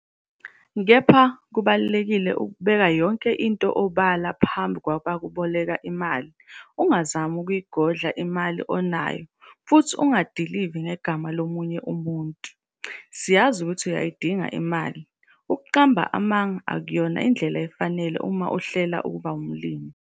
Kepha, kubalulekile ukubeka yonke into obala phambi kwabakuboleka imali - ungazami ukuyigodla imali onayo, futhi ungadilivi ngegama lomunye umuntu. Siyazi ukuthi uyayidinga imali, ukuqamba amanga akuyona indlela efanele uma uhlela ukuba umlimi.